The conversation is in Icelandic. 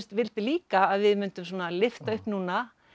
vildi líka að við mundum svona lyfta upp núna